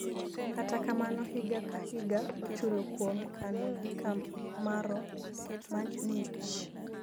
kata kamano higa ka higa ochulo kuom kano gi kamaro ma ng'ich